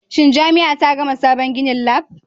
Shin jami'a ta gama sabon ginin Lab?